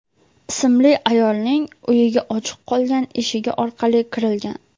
ismli ayolning uyiga ochiq qolgan eshigi orqali kirgan.